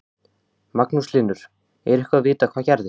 Magnús Hlynur: Er eitthvað vitað hvað gerðist?